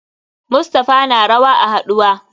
Mustapha na rawa a haduwa.